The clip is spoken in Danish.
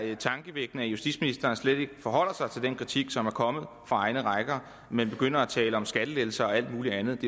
er tankevækkende at justitsministeren slet ikke forholder sig til den kritik som er kommet fra egne rækker men begynder at tale om skattelettelser og alt mulig andet